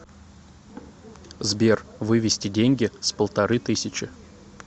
сбер вывести деньги с полторы тысячи